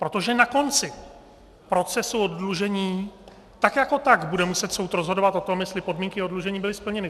Protože na konci procesu oddlužení tak jako tak bude muset soud rozhodovat o tom, jestli podmínky oddlužení byly splněny.